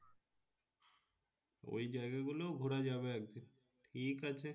ওই জায়গা গুলোও ঘোরা যাবে একদিন ঠিক আছে।